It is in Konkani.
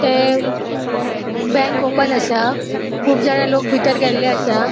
ते बैंक ओपन असा खूब जाणा लोक भीतर गेल्ले असा.